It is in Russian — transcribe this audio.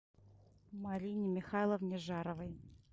марине михайловне жаровой